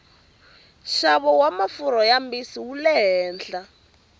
xavo wamafurha mambisi wule hehla